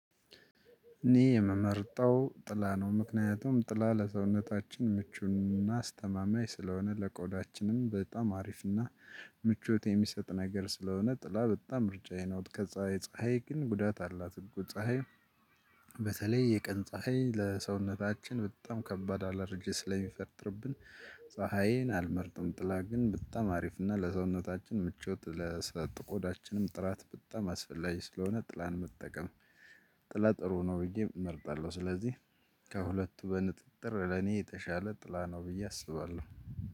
እኔ የምመርጠው ጥላ ነው ምክንያቱም ጥላ ለሰውነታችን ምቹን እናስተማማኝ ስለሆነ ለቆዳችንም በጣም አሪፍና ምቾት የሚሰጥ ነገር ስለሆነ ጥላ በጣም ምርጫዬ ነው ከዛ ፀሀይ ግን ጉዳት አላት እኮ ፀሀይ በተለይ የቀን ፀሀይ ለሰውነታችን በጣም ከባድ አላረጅ ስለሚፈጥርብን ፀሀዬን አልመርጥም ጥላ ግን በጣም አሪፍ እና ለሰውነታችን ምቾት ለስለጥቆዳችንም ጥራት በጣም አስፈላጊ ስለሆነ ጥላን መጠቀም ጥላ ጥሩ ነው ብዬ እመርጣለው ስለዚህ ከሁለቱ በንጥጥር ለኔ የተሻለ ጥላ ነው ብዬ አስባለው።